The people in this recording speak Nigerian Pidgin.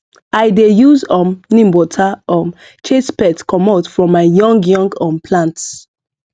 i dey use um neem water um chase pest commot from my young young um plants